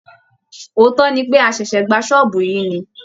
Òótọ́ ni pé, a ṣẹ̀ṣẹ̀ gba ṣọ́ọ̀bù yìí ni